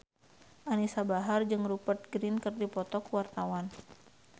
Anisa Bahar jeung Rupert Grin keur dipoto ku wartawan